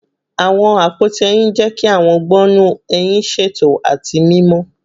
Awọn apoti ehín jẹ ki awọn gbọnnu ehin ṣeto ati mimọ